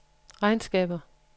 regnskaber